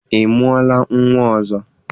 Ị mụọla nnwa ọzọ?